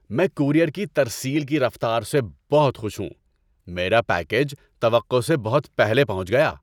میں کورئیر کی ترسیل کی رفتار سے بہت خوش ہوں۔ میرا پیکیج توقع سے بہت پہلے پہنچ گیا!